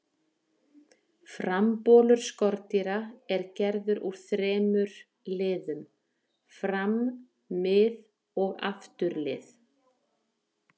Frambolur skordýra er gerður úr þremur liðum, fram-, mið-, og afturlið.